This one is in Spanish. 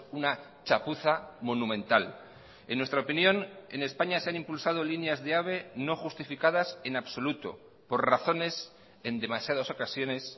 una chapuza monumental en nuestra opinión en españa se han impulsado líneas de ave no justificadas en absoluto por razones en demasiadas ocasiones